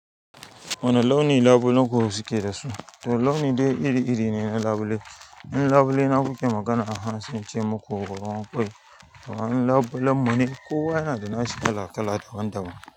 Wani launi labulen ku suke da su? To launi dai iri-iri ne na labule. Labule na kuke magana aha sai ince muku ruwan ƙwai. Labulen mu ne kowa yana da nashi kala-kala daban-daban.